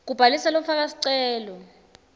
kubhalisa lofaka sicelo